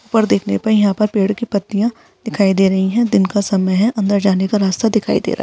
ऊपर देखने पे यहाँ पर पेड़ की पत्तियां दिखाई दे रही हैं दिन का समय है अंदर जाने का रास्ता दिखाई दे रहा हैं।